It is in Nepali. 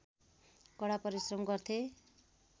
कडा परिश्रम गर्थे